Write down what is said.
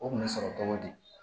O kun bɛ sɔrɔ cogo di